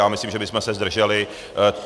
Já myslím, že bychom se zdrželi.